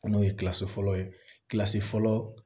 N'o ye fɔlɔ ye fɔlɔ